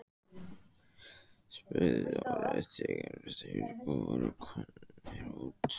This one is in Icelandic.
spurði Dóri þegar þeir voru komnir út.